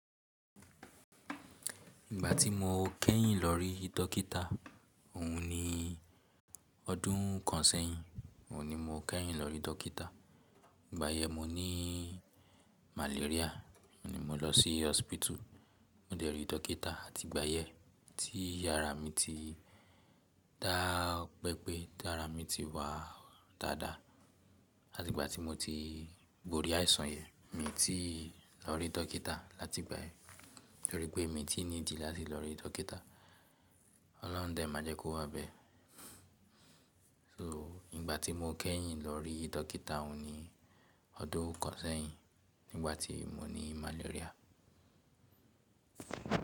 Ìgbà tí mo kẹ́yìn lọ rí dọ́kítà òun ni ọdún kan sẹ́yìn, òun ni mo kẹ́yìn lọ rí dọ́kítà. Ìgbà yẹn mo ní malaria, òun ni mo lọ sí hospital, mo dẹ rí dọ́kítà àti ìgbà yẹn tí ara mi ti dápẹ́ pé ti ára mi ti wà dáadáa àti ìgbà tí mo ti borí àìsàn yẹn, mi n ti lọ rí dọ́kítà láti ìgbà yẹn nítorí pé mi ti n tí niidi láti lọ rí dọ́kítà. Ọlọ́run dẹ̀ má jẹ́ kó wá bẹ. So ìgbà tí mo kẹ́yìn lọ rí dọ́kítà òun ni ọdún kan sẹ́yìn nígbà tí mo ní malaria.